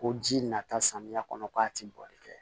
Ko ji nata samiya kɔnɔ k'a ti bɔli kɛ